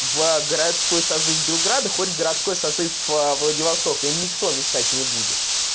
в городской созыв белграда входит городской созыв владивостока и никто мешать не будет